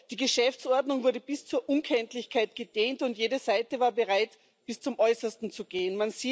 Die Geschäftsordnung wurde bis zur Unkenntlichkeit gedehnt, und jede Seite war bereit, bis zum Äußersten zu gehen.